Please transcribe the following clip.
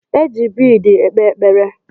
E ji biid ekpe ekpere.